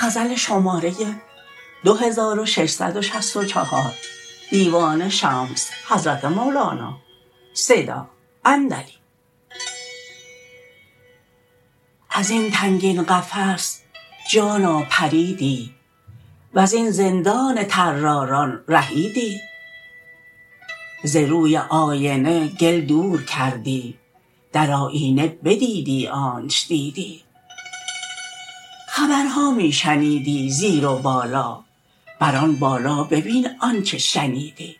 از این تنگین قفس جانا پریدی وزین زندان طراران رهیدی ز روی آینه گل دور کردی در آیینه بدیدی آنچ دیدی خبرها می شنیدی زیر و بالا بر آن بالا ببین آنچ شنیدی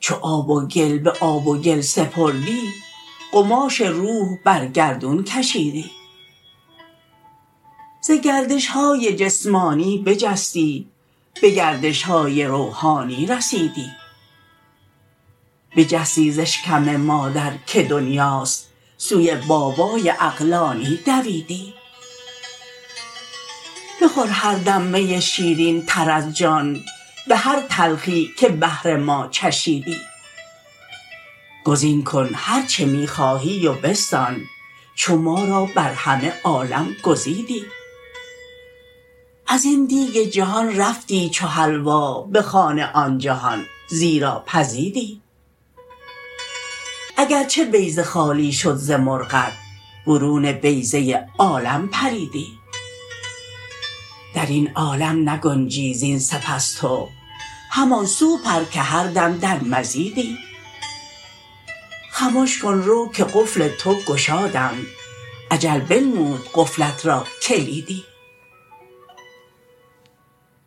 چو آب و گل به آب و گل سپردی قماش روح بر گردون کشیدی ز گردش های جسمانی بجستی به گردش های روحانی رسیدی بجستی ز اشکم مادر که دنیاست سوی بابای عقلانی دویدی بخور هر دم می شیرینتر از جان به هر تلخی که بهر ما چشیدی گزین کن هر چه می خواهی و بستان چو ما را بر همه عالم گزیدی از این دیگ جهان رفتی چو حلوا به خوان آن جهان زیرا پزیدی اگر چه بیضه خالی شد ز مرغت برون بیضه عالم پریدی در این عالم نگنجی زین سپس تو همان سو پر که هر دم در مزیدی خمش کن رو که قفل تو گشادند اجل بنمود قفلت را کلیدی